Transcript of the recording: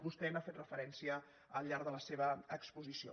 vostè hi ha fet referència al llarg de la seva exposició